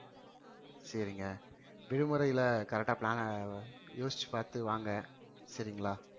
சரிங்க விடுமுறையில correct ஆ plan அ யோசிச்சு பாத்து வாங்க சரிங்களா